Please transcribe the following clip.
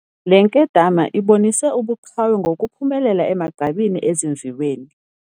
Le nkedama ibonise ubuqhawe ngokuphumelela emagqabini ezimviweni